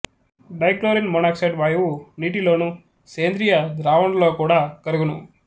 dichlorine monoxide వాయువు నీటి లోను సేంద్రియ ద్రావణులలో కూడా కరుగును